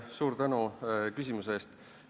Suur tänu küsimuse eest!